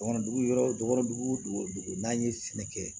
Dɔgɔnɔ dugu yɔrɔ damadugu dugu n'an ye sɛnɛ kɛ